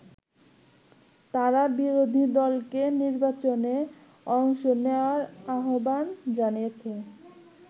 তারা বিরোধী দলকে নির্বাচনে অংশ নেয়ার আহ্বান জানিয়েছে।